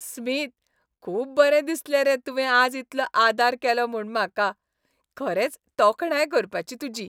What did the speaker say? Smith, खूब बरें दिसलें रे तुवें आज इतलो आदार केलो म्हूण म्हाका. खरेंच तोखणाय करपाची तुजी!